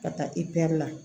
Ka taa i pɛri la